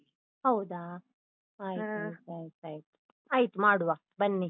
ಹೌದಾ? ಆಯ್ತಾಯ್ತಾಯ್ತು. ಆಯ್ತು ಮಾಡುವ ಬನ್ನಿ.